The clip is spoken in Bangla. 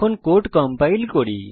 কোড কম্পাইল করি